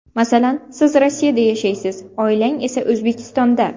Masalan, siz Rossiyada yashaysiz, oilangiz esa – O‘zbekistonda.